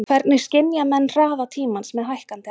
Hvernig skynja menn hraða tímans með hækkandi aldri?